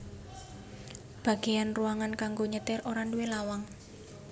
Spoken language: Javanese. Bagéyan ruangan kanggo nyetir ora nduwé lawang